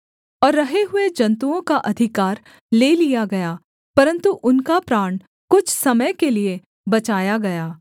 और रहे हुए जन्तुओं का अधिकार ले लिया गया परन्तु उनका प्राण कुछ समय के लिये बचाया गया